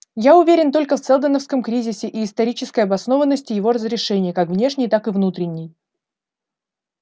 я уверен только в сэлдоновском кризисе и исторической обоснованности его разрешения как внешней так и внутренней